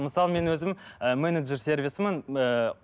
мысалы мен өзім і менеджер сервисімін ыыы